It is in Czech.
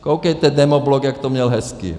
Koukejte, demoblok, jak to měl hezké!